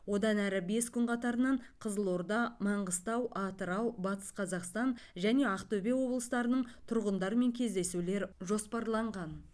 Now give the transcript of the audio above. одан әрі бес күн қатарынан қызылорда маңғыстау атырау батыс қазақстан және ақтөбе облыстарының тұрғындарымен кездесулер жоспарланған